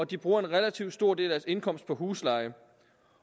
de bruger en relativt stor del af indkomst på husleje